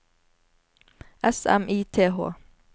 S M I T H